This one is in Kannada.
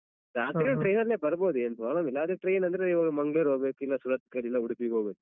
ಏನ್ problem ಇಲ್ಲ ಅದೇ train ಅಂದ್ರೆ ನೀವು ಮಂಗ್ಳೂರ್ ಹೊಬೇಕ್ ಇಲ್ಲ ಸೂರತ್ಕಲ್ ಇಂದ ಉಡುಪಿಗೆ ಹೋಗ್ಬೇಕು.